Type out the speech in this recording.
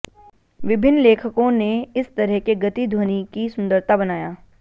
विभिन्न लेखकों ने इस तरह के गति ध्वनि की सुंदरता बनाया